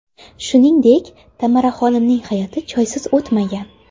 Shuningdek, Tamaraxonimning hayoti choysiz o‘tmagan.